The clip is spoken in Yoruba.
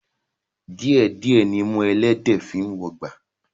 Díẹ̀ díẹ̀ nimú ẹlẹ́dẹ̀ẹ́ fi ń wọgbà